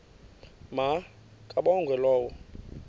ma kabongwe low